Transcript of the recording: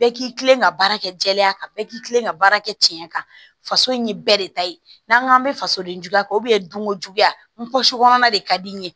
Bɛɛ k'i kilen ka baara kɛ jɛlenya kan bɛɛ k'i kilen ka baara kɛ cɛn kan faso in ye bɛɛ de ta ye n'an k'an bɛ faso den juguya kan don ko juguya n pɔsi kɔnɔna de ka di n ye